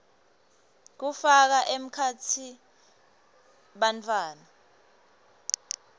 kufaka ekhatsi bantfwana